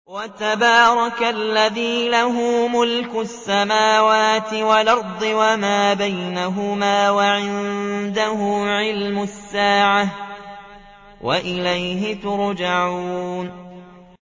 وَتَبَارَكَ الَّذِي لَهُ مُلْكُ السَّمَاوَاتِ وَالْأَرْضِ وَمَا بَيْنَهُمَا وَعِندَهُ عِلْمُ السَّاعَةِ وَإِلَيْهِ تُرْجَعُونَ